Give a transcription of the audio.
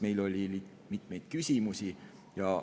Meil oli mitmeid küsimusi.